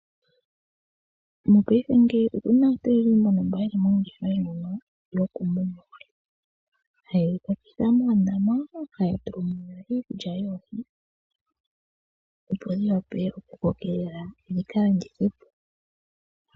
Mopaife ngeyi opuna aantu mboka yeli moongeshefa mono yoku muna oohi, hayedhi kwatitha moondama, haya tulamo iikulya yoohi opo dhi wape oku kokelela dhika landithwe po.